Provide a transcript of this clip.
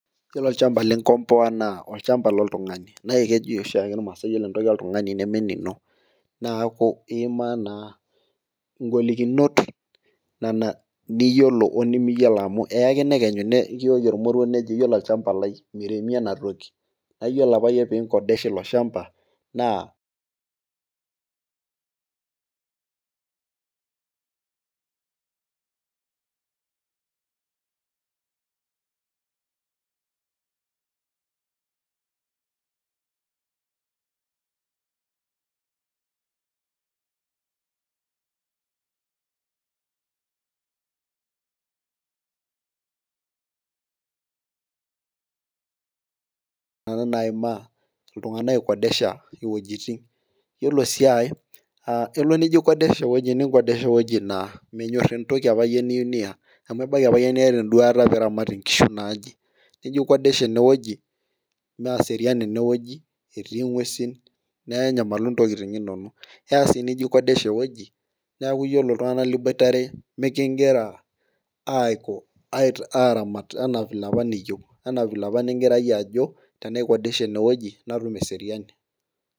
Ore olchampa linkompka naa olchampa loltungani naa kejo oshiae irmaasae iyiolo entoki oltungani neme enino. neeku iimaa naa igolikinot Nena niyiolou o nimiyiolo amu eya ake nekenyu nikijoki olmoruo iyiolo ajo olchampa lai miremi ena toki. niyiolo apa iyie pee Inkontesha ilo shampa, naa Nena naimaa iltunganak Ikondesha, iwuejitin. iyiolo sii aae, kelo nijo aikondesha ewueji ninkondesha ewueji naa menyor entoki apa niyieu iyie niya, amu ebaiki apa niyata Ina duata niramat inkishi te mbae naje. nijo aikondesha ene wueji mwserian ine wueji etii ng'uesin. nenyamalu ntokitin inonok .keya sii nijo aikondesha ewueji neeku iyiolo iltunganak liboitare mikigira aaramat anaa vile apa niyieu .anaa vile apa nigira iyie ajo tenaikondesha ene wueji natum eseriani.